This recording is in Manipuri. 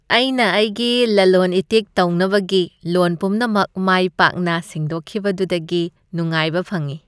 ꯑꯩꯅ ꯑꯩꯒꯤ ꯂꯂꯣꯟ ꯏꯇꯤꯛ ꯇꯧꯅꯕꯒꯤ ꯂꯣꯟ ꯄꯨꯝꯅꯃꯛ ꯃꯥꯏ ꯄꯥꯛꯅ ꯁꯤꯡꯗꯣꯛꯈꯤꯕꯗꯨꯗꯒꯤ ꯅꯨꯡꯉꯥꯏꯕ ꯐꯪꯉꯤ ꯫